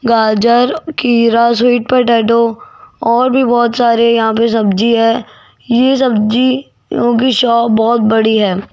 गाजर खीरा sweet potato और भी बहुत सारे यहां पर सब्जी है ये सब्जियों की शॉप बहोत बड़ी है।